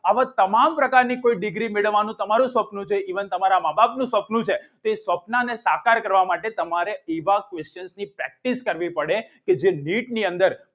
આવા તમામ પ્રકારની કોઈ degree મેળવવા જો તમારું સપનું હોય even તમારા મા બાપનું સપનું હોય તો એ સપનાને સાકાર કરવા માટે તમારે યુવા corse ની practice કરવી પડે કે જે નીટની અંદર